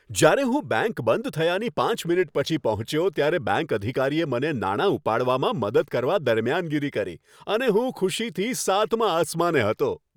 જ્યારે હું બેંક બંધ થયાની પાંચ મિનિટ પછી પહોંચ્યો ત્યારે બેંક અધિકારીએ મને નાણા ઉપાડવામાં મદદ કરવા દરમિયાનગીરી કરી અને હું ખુશીથી સાતમા આસમાને હતો.